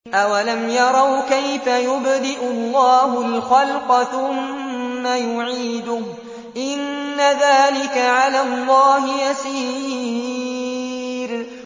أَوَلَمْ يَرَوْا كَيْفَ يُبْدِئُ اللَّهُ الْخَلْقَ ثُمَّ يُعِيدُهُ ۚ إِنَّ ذَٰلِكَ عَلَى اللَّهِ يَسِيرٌ